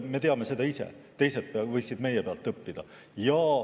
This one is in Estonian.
Me teame ise, teised võiksid meie pealt õppida.